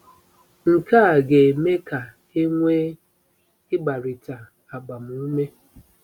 Nke a ga-eme ka e nwee “ịgbarịta agbamume.”